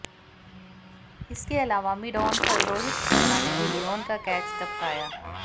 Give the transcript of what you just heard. इसके अलावा मिडआन पर रोहित शर्मा ने भी लियोन का कैच टपकाया